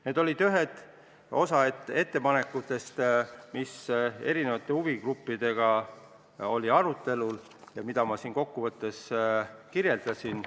Need olid osa ettepanekutest, mida huvigruppidega arutati ja mida ma siin kokkuvõttes kirjeldasin.